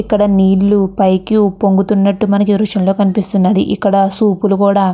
ఇక్కడ నీళ్ళు పైకి ఉప్పొంగుతున్నట్టు మనకి ఈ దృశ్యం లో కనిపిస్తున్నది. ఇక్కడ సూప్ లు కూడా --